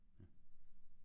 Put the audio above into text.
Ja